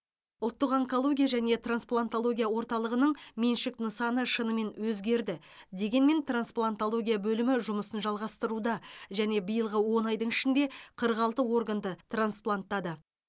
ұлттық онкология және трансплантология орталығының меншік нысаны шынымен өзгерді дегенмен трансплантология бөлімі жұмысын жалғастыруда және биылғы он айдың ішінде қырық алты органды транспланттады